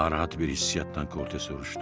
Narahat bir hissiyyatdan Korte soruşdu.